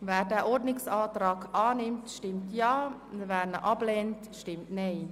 Wer diesen Ordnungsantrag annimmt, stimmt Ja, wer diesen ablehnt, stimmt Nein.